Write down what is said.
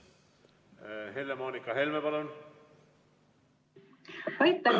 Helle-Moonika Helme, palun!